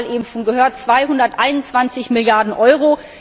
Wir haben die Zahl eben schon gehört 221 Milliarden Euro.